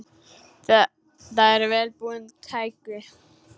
Þetta eru vel búin tæki.